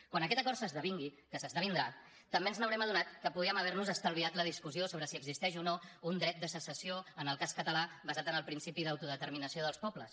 quan aquest acord s’esdevingui que s’esdevindrà també ens haurem adonat que podríem haver nos estalviat la discussió sobre si existeix o no un dret de secessió en el cas català basat en el principi d’autodeterminació dels pobles